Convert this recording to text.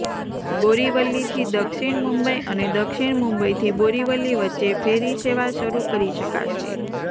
બોરીવલીથી દક્ષિણ મુંબઇ અને દક્ષિણ મુંબઇથી બોરીવલી વચ્ચે ફેરી સેવા શરૂ કરી શકાશે